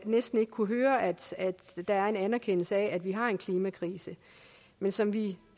næsten ikke kunne høre at der er en anerkendelse af at vi har en klimakrise men som vi